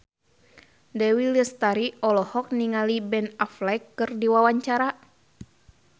Dewi Lestari olohok ningali Ben Affleck keur diwawancara